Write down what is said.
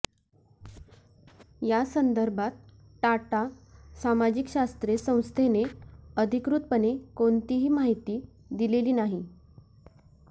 या संदर्भात टाटा सामाजिक शास्त्रे संस्थेने अधिकृतपणे कोणतीही माहिती दिलेली नाही